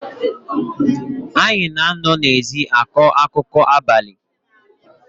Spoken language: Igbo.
Anyị na-anọ n’ezi akọ akụkọ n’abalị